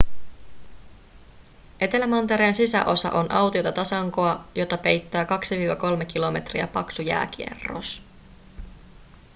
etelämantereen sisäosa on autiota tasankoa jota peittää 2-3 kilometriä paksu jääkerros